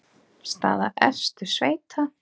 Staða efstu sveita.